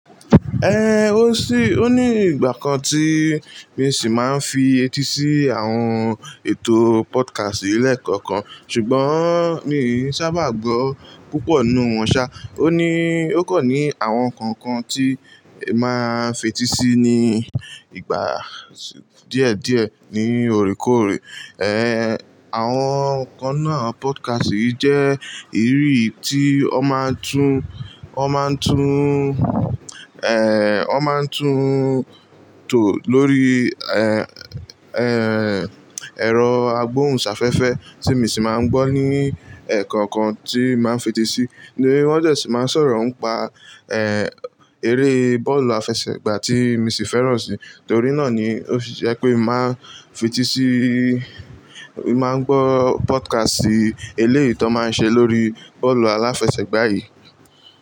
Ehn, o sí, o ní ìgbà kan tí mo sì máa ń fi etí sí àwọn ètò podcast yi leẹ̀kọ́kan, ṣùgbọ́n mi o n sábà gbọ́ púpọ̀ nínú wọn ṣá. O ní, ó kan ní àwọn kọ̀ọ̀kan tí máa ń fetí sí ní ìgbà díẹ̀ díẹ̀ ní oríko orí. Àwọn kan nínú àwọn podcast yi jẹ́ ìru tí wọn máa ń tún, wọn máa ń tún, wọn máa ń tún tò lórí, ẹ̀rọ agbohùnsáfẹ́fẹ́ tí mo sì máa ń gbọ́ ní ẹ̀kọ́okan tí màá ń fetí sí. Ní wọ́n sì máa ń sọ̀rọ̀ ń pa, eré bọ́ọ̀lù àfẹsẹ̀gbá tí mi sì fẹ́ràn sì. Torí náà ni ó ṣe jepé mo màá n fetí síí, mo màá ń gbọ́ podcast eléyi tọ́n máa ń ṣe lórí bọ́ọ̀lù aláfẹsẹ̀gbá yìí.